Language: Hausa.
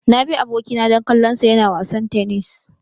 Na bi abokina don kallonsa yana wasan tennis.